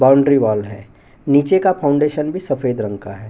Boundary wall है निचे का फाउंडेशन भी सफ़ेद रंग का है।